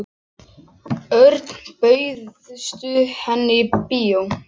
Örn, bauðstu henni í bíó?